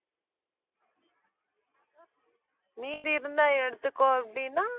மீதி இருந்தா எடுத்துக்கோ அப்படின்னா